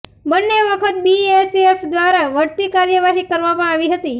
બંને વખત બીએસએફ દ્વારા વળતી કાર્યવાહી કરવામાં આવી હતી